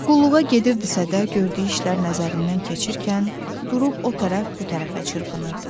Qulluğa gedirdisə də, gördüyü işlər nəzərindən keçərkən durub o tərəf bu tərəfə çırpınırdı.